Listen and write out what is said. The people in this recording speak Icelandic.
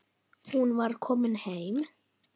Hún var komin heim.